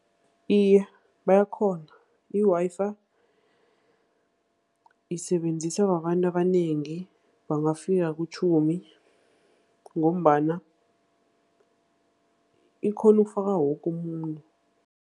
Iye, bayakghona. I-Wi-Fi isebenziswa babantu abanengi, bangafika kutjhumi, ngombana ikghona ukufaka woke umuntu.